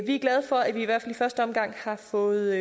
vi er glade for at vi i hvert fald her i første omgang har fået